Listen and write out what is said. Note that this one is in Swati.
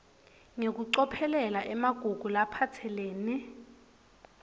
ngekucophelela emagugu laphatselene